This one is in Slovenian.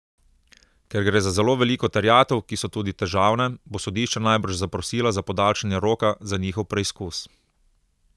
Ker gre za zelo veliko terjatev, ki so tudi težavne, bo sodišče najbrž zaprosila za podaljšanje roka za njihov preizkus.